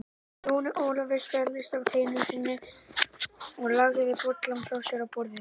Jóni Ólafi svelgdist á teinu sínu og lagði bollann frá sér á borðið.